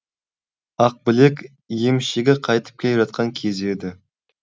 ақбілек емшегі қайтып келе жатқан кезі еді